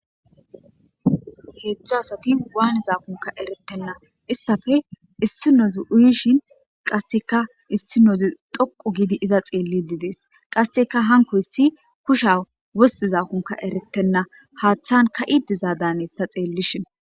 Heedzdzu asati wanizakko eretena ezayitappe issinozi uyishin qasika issinozi dhoqu gidi iza xelidi deas qaseka hankoyisi kushsha wositizakkonne eretena haathan kaidi dia danes ta xelishin.